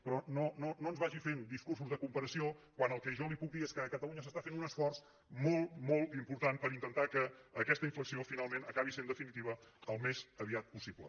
però no ens vagi fent discursos de cooperació quan el que jo li puc dir és que a catalunya s’està fent un esforç molt molt important per intentar que aquesta inflexió finalment acabi sent definitiva al més aviat possible